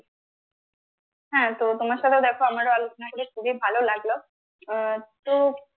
হ্যাঁ, তো তোমার সাথেও দেখো আমারও আলোচনা হয়েছে খুবই ভালো লাগলো আহ তো